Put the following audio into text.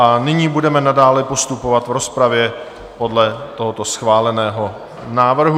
A nyní budeme nadále postupovat v rozpravě podle tohoto schváleného návrhu.